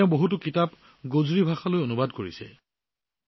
তেওঁ গোজৰি ভাষাত বহু গ্ৰন্থও অনুবাদ কৰিছিল